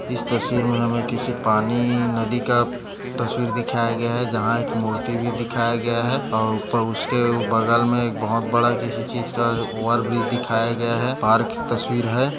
इस तस्वीर मे हमे किसी पानी नदी का तस्वीर दिखाया गया है जहा एक मूर्ति भी दिखाया गया है और उपर उसके बगल मे एक बहुत बड़ा किसी चीज का ओवर ब्रिज दिखाया गया है पार्क की तस्वीर है।